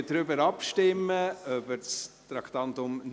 Wir stimmen über das Traktandum 49 ab.